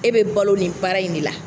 E bɛ balo nin baara in de la